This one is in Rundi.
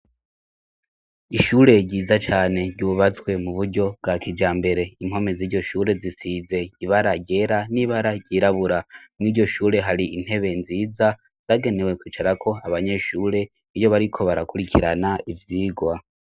Ishure ry'intango ryo mu kibimba rigizwe n'inyubakwa zitatu z'amashure, ndetse zibiri muri zo zisakaje amabata asizirango iritukura, ariko imwe yoyisakaje amabato asiziranga irisa n'icatsi kibisi abana bariko barakina mu kibuga kira imbere yizo nyubakwa.